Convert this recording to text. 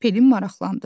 Pelin maraqlandı: